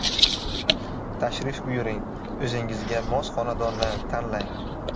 Tashrif buyuring, o‘zingizga mos xonadonni tanlang!